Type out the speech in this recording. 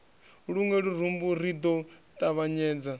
luṅwe lurumbu ri ḓo ṱavhanyedza